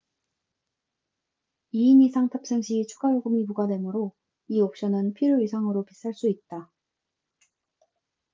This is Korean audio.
2인 이상 탑승 시 추가 요금이 부과되므로 이 옵션은 필요 이상으로 비쌀 수 있다